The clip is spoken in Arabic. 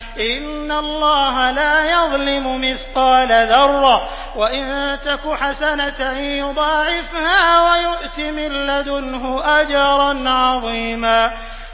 إِنَّ اللَّهَ لَا يَظْلِمُ مِثْقَالَ ذَرَّةٍ ۖ وَإِن تَكُ حَسَنَةً يُضَاعِفْهَا وَيُؤْتِ مِن لَّدُنْهُ أَجْرًا عَظِيمًا